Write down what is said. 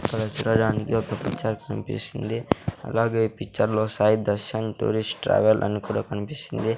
ఇక్కడ చూడడానికి ఒక పిక్చర్ కనిపిస్తుంది అలాగే ఈ పిక్చర్లో సాయి దర్శన్ టూరిస్ట్ ట్రావెల్ అని కూడా కనిపిస్తుంది.